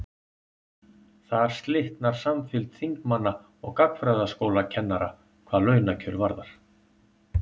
þar slitnar samfylgd þingmanna og gagnfræðaskólakennara hvað launakjör varðar